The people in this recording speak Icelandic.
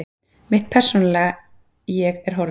Mitt persónulega ég er horfið.